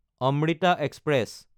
Amrita express